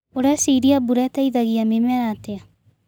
ũreciria mbura ĩteithagia mĩmera atĩa.